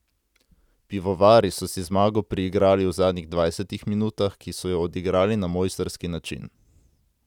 Pivovari so si zmago priigrali v zadnjih dvajsetih minutah, ki so jo odigrali na mojstrski način.